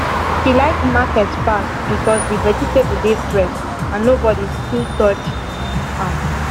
she like market pass because the vegetable dey fresh and nobody too touch am